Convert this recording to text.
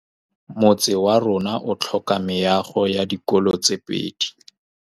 Motse warona o tlhoka meago ya dikolô tse pedi.